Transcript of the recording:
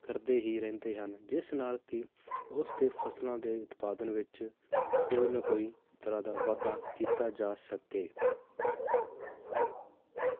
ਕਰਦੇ ਹੀ ਰਹਿੰਦੇ ਹਨ ਜਿਸ ਨਾਲ ਕੀ ਉਸਦੇ ਫਸਲਾਂ ਦੇ ਉਤਪਾਦਨ ਵਿਚ ਕੋਈ ਨਾ ਕੋਈ ਤਰਾਹ ਦਾ ਵਾਧਾ ਕੀਤਾ ਜਾ ਸਕੇ।